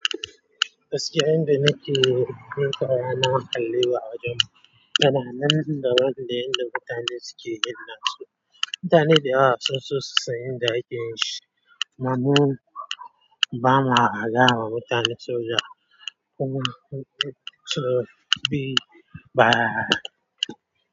Gaskiya inda nake, mun taru ana kalli wa ajinmu. Dana nan da ruwan da inda mutane suke ginnasu. Mutane da yawa sunso su san, yanda ake yin shi. Mamman bama agawa mutane soja.